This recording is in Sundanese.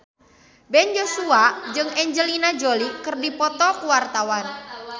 Ben Joshua jeung Angelina Jolie keur dipoto ku wartawan